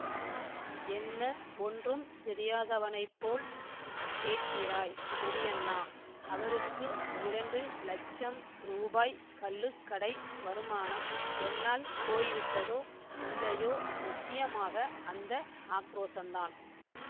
என்ன ஒன்றும் தெரியாதவனைப் போல் கேட்கிறாய் பெரியண்ணா அவருக்கு இரண்டு லட்சம் ரூபாய் கள்ளுக்கடை வருமானம் என்னால் போய்விட்டதோ இல்லையோ முக்கியமாக அந்த ஆக்ரோஷந்தான்